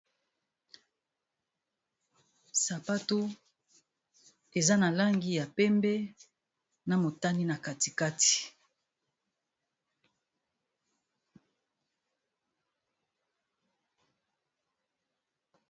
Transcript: sapato eza na langi ya pembe na motani na katikati